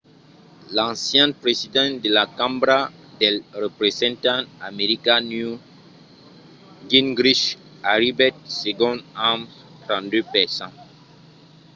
l'ancian president de la cambra dels representants americana newt gingrich arribèt segond amb 32 per cent